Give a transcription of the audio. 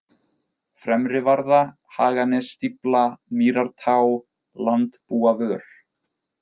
Fremrivarða, Haganesstífla, Mýrartá, Landbúavör